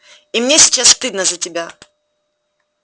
и мне сейчас стыдно за тебя